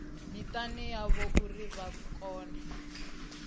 mitani yavho uri vha kone